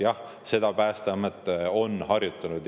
Jah, seda Päästeamet on harjutanud.